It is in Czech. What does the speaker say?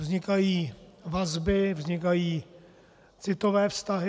Vznikají vazby, vznikají citové vztahy.